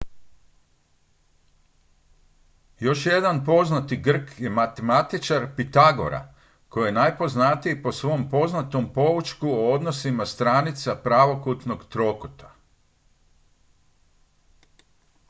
još jedan poznati grk je matematičar pitagora koji je najpoznatiji po svojem poznatom poučku o odnosima stranica pravokutnog trokuta